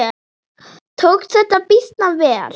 Tókst þetta býsna vel.